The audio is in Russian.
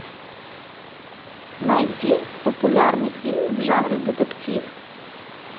найди популярный фильм в жанре детектив